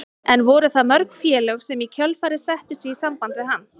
En voru það mörg félög sem í kjölfarið settu sig í samband við hann?